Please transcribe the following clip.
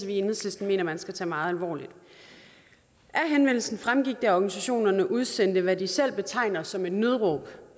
vi i enhedslisten mener man skal tage meget alvorligt af henvendelsen fremgår det at organisationerne udsender hvad de selv betegner som et nødråb